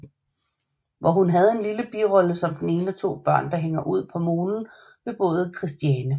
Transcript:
Hvor hun havde en lille birolle som det ene af to børn der hænger ud på molen ved båden Kristiane